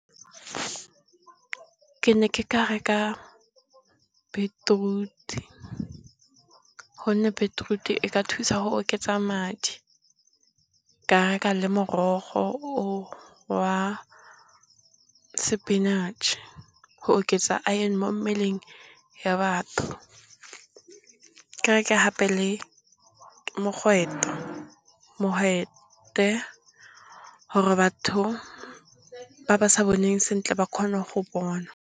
Ke ne ke ka reka bitiruti gonne, bitiruti e ka thusa go oketsa madi, ka reka le morogo o wa sepinatšhe go oketsa aene mo mmeleng ya batho, ka reka gape le mogwete gore batho ba ba sa boneng sentle ba kgone go bona.